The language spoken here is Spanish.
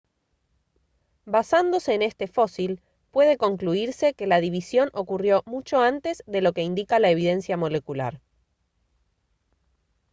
basándose en este fósil puede concluirse que la división ocurrió mucho antes de lo que indica la evidencia molecular